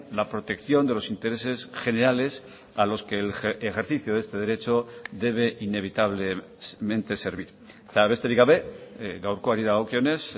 la protección de los intereses generales a los que el ejercicio de este derecho debe inevitablemente servir eta besterik gabe gaurkoari dagokionez